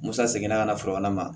Musa seginna ka na filanan ma